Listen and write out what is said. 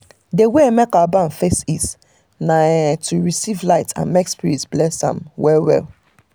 the wey make our barn face east na um to receive light and make spirit bless am um well well